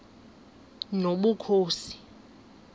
nobukhosi